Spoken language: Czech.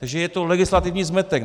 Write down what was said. Že je to legislativní zmetek.